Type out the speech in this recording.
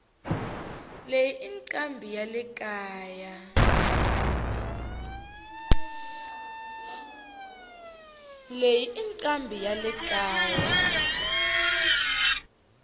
leyi incambi yalekaya